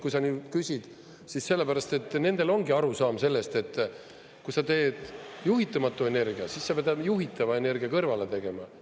Kui sa nüüd küsid, siis sellepärast, et nendel ongi arusaam sellest, et kui sa teed juhitamatu energia, siis sa pead juhitava energia kõrvale tegema.